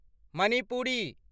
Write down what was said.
Manipuri